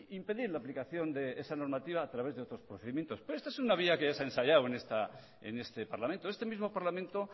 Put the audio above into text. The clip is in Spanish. impedir la aplicación de esa normativa a través de otros procedimientos pero esta es una vía que ya se ha ensayado en este parlamento este mismo parlamento